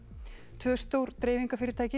tvö stór dreifingarfyrirtæki